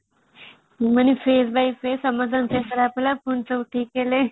ମାନେ phase by phase ସମସ୍ତଙ୍କର ଦେହ ଖରାପ ହେଲା ପୁଣି ସବୁ ଥିକ ହେଲ|